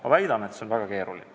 Ma väidan, et see on väga keeruline.